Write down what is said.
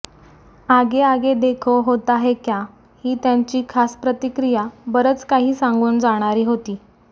आगे आगे देखो होता है क्या ही त्यांची खास प्रतिक्रिया बरचं काही सांगून जाणारी होती